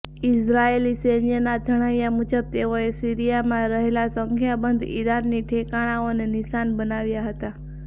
ઇઝરાયેલી સૈન્યના જણાવ્યાં મુજબ તેઓએ સીરિયામાં રહેલાં સંખ્યાબંધ ઈરાની ઠેકાણાંઓને નિશાન બનાવ્યાં હતા